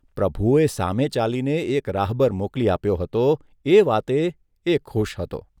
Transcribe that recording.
પ્રભુએ સામે ચાલીને એક રાહબર મોકલી આપ્યો હતો એ વાતે એ ખુશ હતો.